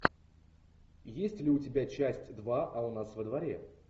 есть ли у тебя часть два а у нас во дворе